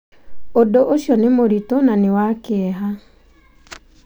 Ũndũ ũcio nĩ mũritũ na nĩ wa kĩeha.